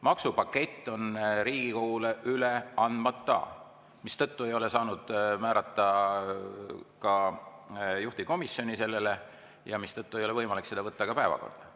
Maksupakett on Riigikogule üle andmata, mistõttu ei ole saanud määrata ka juhtivkomisjoni sellele ja seetõttu ei ole võimalik seda ka päevakorda võtta.